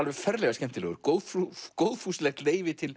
ferlega skemmtilegur góðfúslegt góðfúslegt leyfi til